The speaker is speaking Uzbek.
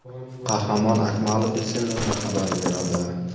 Qahramon Akmalov esa menga xabar beradi.